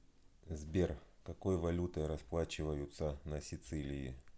сбер какой валютой расплачиваются на сицилии